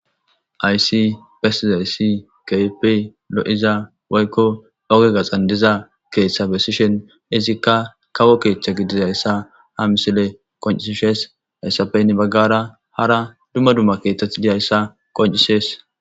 Hayssi bessizayssi kehippe lo'zza woykko ogge gaxxan diiza keththa bessishin iizikka kawo keththa giidizayssa ha missiley qonccises hessappe heni baggara dumma dumma keththati diizayssa qonccises.